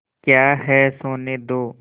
क्या है सोने दो